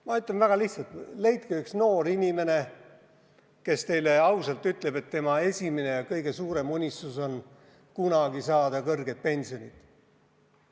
Ma ütlen väga lihtsalt: leidke üks noor inimene, kes teile ausalt ütleb, et tema kõige suurem unistus on saada kunagi kõrget pensionit.